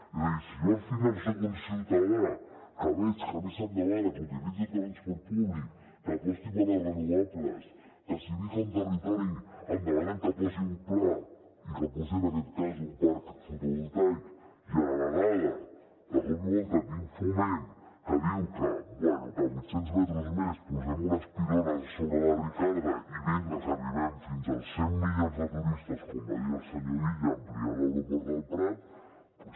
és a dir si jo al final soc un ciutadà que veig que a mi se’m demana que utilitzi el transport públic que aposti per les renovables que si visc a un territori em demanen que posi un pla i que posi en aquest cas un parc fotovoltaic i a la vegada de cop i volta tinc foment que diu que bé a vuitcents metres més posarem unes pilones sobre la ricarda i vinga que arribem fins als cent milions de turistes com va dir el senyor illa ampliant l’aeroport del prat doncs